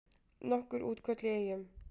Nokkur útköll í Eyjum